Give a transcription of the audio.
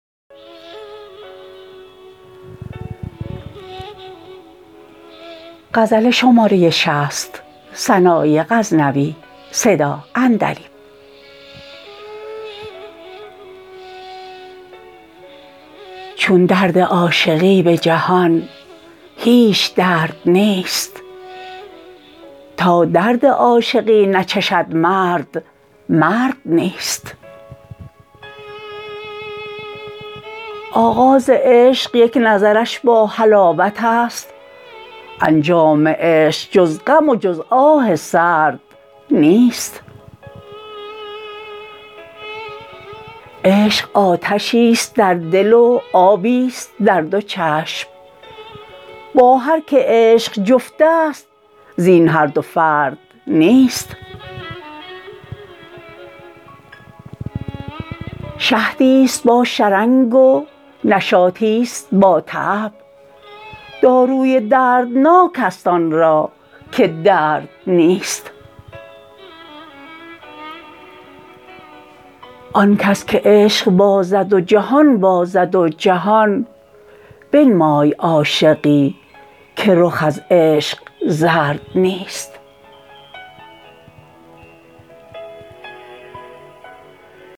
چون درد عاشقی به جهان هیچ درد نیست تا درد عاشقی نچشد مرد مرد نیست آغاز عشق یک نظرش با حلاوت ست انجام عشق جز غم و جز آه سرد نیست عشق آتشی ست در دل و آبی ست در دو چشم با هر که عشق جفت ست زین هر دو فرد نیست شهدی ست با شرنگ و نشاطی ست با تعب داروی دردناک ست آن را که درد نیست آن کس که عشق بازد جان بازد و جمال بنمای عاشقی که چو من روش زرد نیست